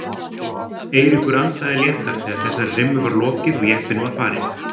Eiríkur andaði léttar þegar þessari rimmu var lokið og jeppinn var farinn.